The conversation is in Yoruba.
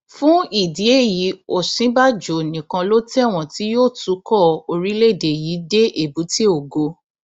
fún ìdí èyí òsínbàjò nìkan ló tẹwọn tí yóò tukọ orílẹèdè yìí dé èbúté ògo